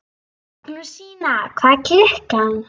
Magnúsína, hvað er klukkan?